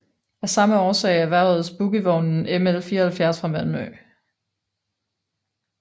Af samme årsag erhvervedes bogievognen ML 74 fra Malmö